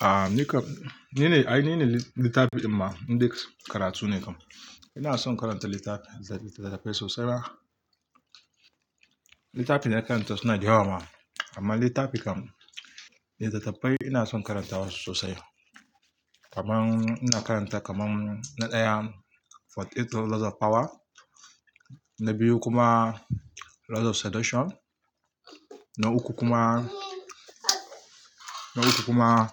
Ah nikam, nine, ai nine litafi din ma, indai karatu ne kam ina son karanta littafi, littattafai sosai ba. Littafi na karanta suna dayawa ma, amma littafi kam, littattafai ina son karanta wa sosai. Kaman ina karanta kaman na ɗaya, "For the love of power", na biyu kuma "Laws of Seduction", na uku kuma, na hudu kuma